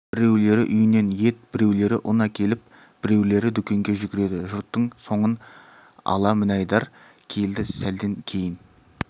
біреулері үйінен ет біреулері ұн әкеліп біреулері дүкенге жүгіреді жұрттың соңын ала мінайдар келді сәлден кейін